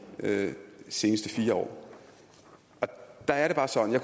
seneste fire år og der er det bare sådan at